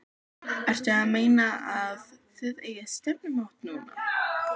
Ertu að meina. að þið eigið stefnumót núna.